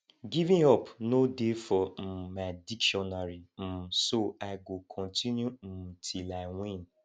giving up no dey for um my dictionary um so i go continue um till i win